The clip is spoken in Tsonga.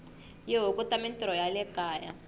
yi hunguta mintirho ya le kaya